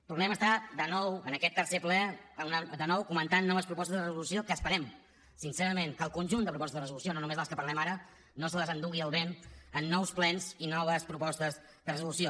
tornem a estar de nou en aquest tercer ple comentant noves propostes de resolució que esperem sincerament que el conjunt de propostes de resolució no només de les que parlem ara no se les endugui el vent en nous plens i noves propostes de resolució